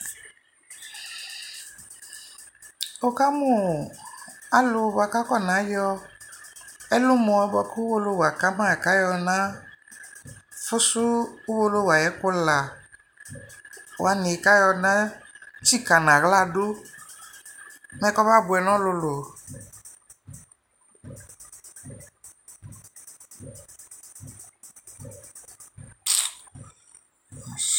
Wʋkamʋ alʋ boa kʋ akɔnayɔ ɛlʋmɔ boa kʋ Uwolowʋ akama kayɔnafʋsʋ Uwolowu ayʋɛkʋ la wani kayɔnatsika n'aɣla du mɛ kɔbabʋɛ nʋ ɔlʋlʋ